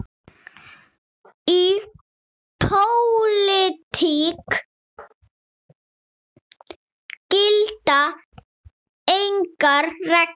Í pólitík gilda engar reglur.